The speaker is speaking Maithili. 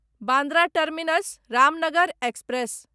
Bandra terminus Ramnagar express